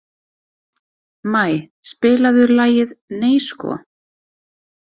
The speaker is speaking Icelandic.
Maj, spilaðu lagið „Nei sko“.